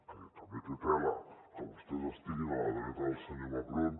que també té tela que vostès estiguin a la dreta del senyor macron